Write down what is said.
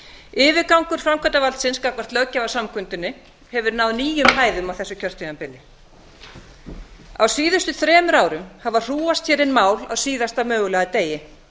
yfirgangur framkvæmdarvaldsins gagnvart löggjafarsamkundunni hefur náð nýjum hæðum á þessu kjörtímabili á síðustu þremur árum hafa hrúgast hér inn mál á síðasta mögulega degi